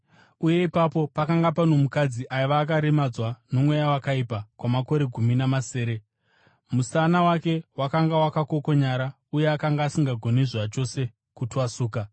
uye ipapo pakanga pano mukadzi aiva akaremadzwa nomweya wakaipa kwamakore gumi namasere. Musana wake wakanga wakakokonyara uye akanga asingagoni zvachose kutwasuka.